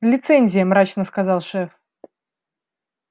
лицензия мрачно сказал шеф